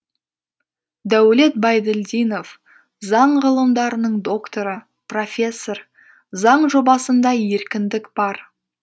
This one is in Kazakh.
дәулет байділдинов заң ғылымдарының докторы профессор заң жобасында еркіндік бар